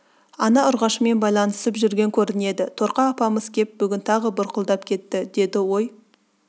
ана ұрғашымен байланысып жүрген көрінеді торқа апамыз кеп бүгін тағы бұрқылдап кетті деді ой